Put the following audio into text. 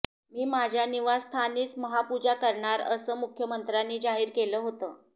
मी माझ्या निवास्थानीच महापूजा करणार असं मुख्यमंत्र्यांनी जाहीर केलं होतं